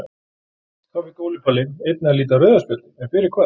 Þá fékk Óli Palli einnig að líta rauða spjaldið en fyrir hvað?